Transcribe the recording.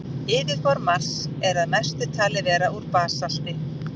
Yfirborð Mars er að mestu talið vera úr basalti.